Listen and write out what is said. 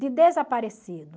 de desaparecido.